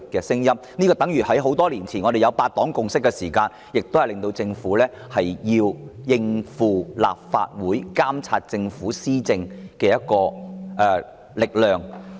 正如多年前的8黨共識亦迫使政府應對立法會監察政府施政的力量。